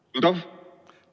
Ei kuule!